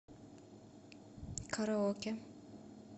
караоке